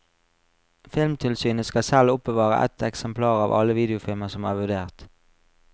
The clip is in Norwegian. Filmtilsynet skal selv oppbevare ett eksemplar av alle videofilmer som er vurdert.